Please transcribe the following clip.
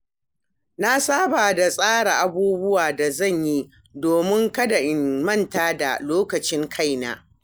Na saba da tsara abubuwan da zan yi domin kada in manta da lokacin kaina.